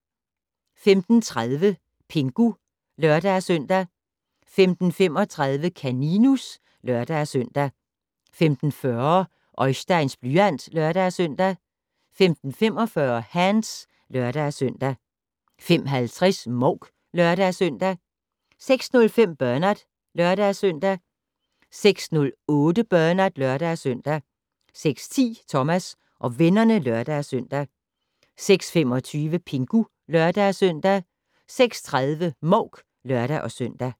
05:30: Pingu (lør-søn) 05:35: Kaninus (lør-søn) 05:40: Oisteins blyant (lør-søn) 05:45: Hands (lør-søn) 05:50: Mouk (lør-søn) 06:05: Bernard (lør-søn) 06:08: Bernard (lør-søn) 06:10: Thomas og vennerne (lør-søn) 06:25: Pingu (lør-søn) 06:30: Mouk (lør-søn)